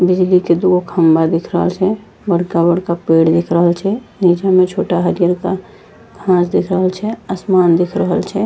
बिजली के दूगो खम्बा दिख रहल छै बड़का-बड़का पेड़ दिख रहल छै नीचे में छोटा हरियरका घास दिख रहल छै आसमान दिख रहल छै।